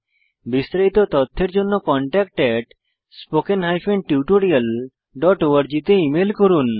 বিস্তারিত তথ্যের জন্য contactspoken tutorialorg তে ইমেল করুন